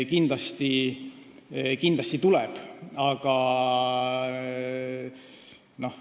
Kindlasti tuleb.